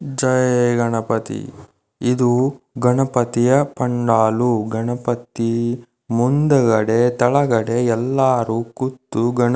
ಜೈ ಗಣಪತಿ ಇದು ಗಣಪತಿಯ ಪನ್ನಲು ಗಣಪತಿ ಮುಂದೆಗಡೆ ಕೆಳಗಡೆ ಎಲ್ಲರೂ ಕುತ್ತು ಗಣಪ--